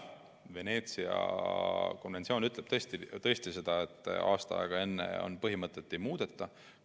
Veneetsia konventsioon ütleb tõesti seda, et aasta aega enne valimisi põhimõtteid ei muudeta.